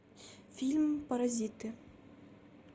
фильм паразиты